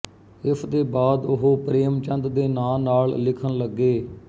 ਇਸਦੇ ਬਾਅਦ ਉਹ ਪ੍ਰੇਮਚੰਦ ਦੇ ਨਾਂ ਨਾਲ ਲਿਖਣ ਲੱਗੇ